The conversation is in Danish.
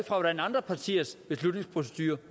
hvordan andre partiers beslutningsprocedurer